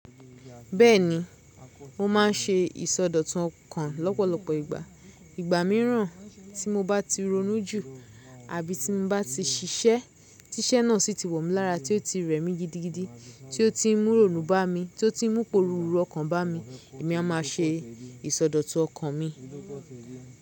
Bẹ́ẹ̀ni, mo máa ń ṣe ìsọdọ̀tun ọkàn lọ́pọ̀lọpọ̀ ìgbà. Ìgbà mìíràn tí mo bá ti ronú jù, àbí tí n bá ti ṣiṣẹ́ tí iṣẹ́ náà sì ti wò mọ́ lára tí ó ti rẹ̀ mí gidigidi, tí ó ti ń mú ironu bá mi, tí ó ti ń mú iporùru ọkàn bá mi, èmi a máa ṣe ìsọdọ̀tun ọkàn mi.